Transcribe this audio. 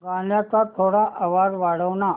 गाण्याचा थोडा आवाज वाढव ना